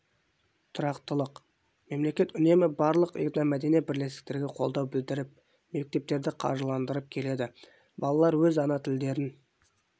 тұрақтылық мемлекет үнемі барлық этномәдени бірлестіктерге қолдау білдіріп мектептерді қаржыландырып келеді балалар өз ана тілдерін